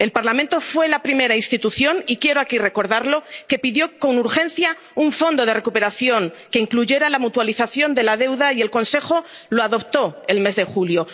El Parlamento fue la primera institución ⸺y quiero aquí recordarlo⸺ que pidió con urgencia un Fondo de Recuperación que incluyera la mutualización de la deuda, y el Consejo lo adoptó el mes de julio.